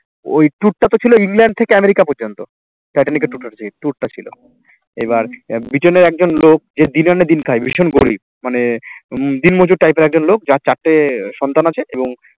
ওই tour টাতো ছিল ইংল্যান্ড থেকে আমেরিকা পর্যন্ত, টাইটানিকের total যে tour টা ছিল এবার ব্রিটেনে একজন লোক যে দিন আনে দিন খায় ভীষণ গরিব মানে উম দিনমজুর type এর একজন লোক যার চারটে সন্তান আছে এবং